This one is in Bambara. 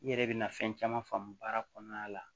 I yɛrɛ bɛna fɛn caman faamu baara kɔnɔna la